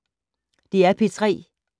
DR P3